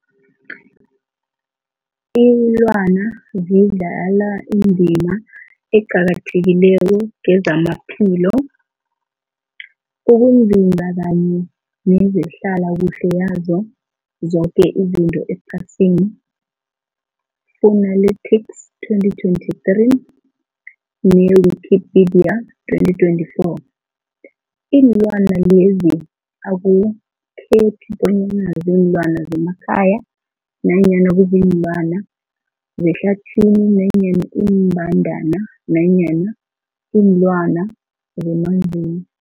Iinlwana zidlala indima eqakathekileko kezamaphilo, ukunzinza kanye nezehlala kuhle yazo zoke izinto ephasini, Fuanalytics 2023, ne-Wikipedia 2024. Iinlwana lezi akukhethi bonyana ziinlwana zemakhaya nanyana kuziinlwana zehlathini nanyana iimbandana nanyana iinlwana zemanzini.